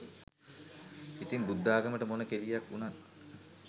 ඉතින් බුද්ධාගමට මොන කෙලියක් උනත්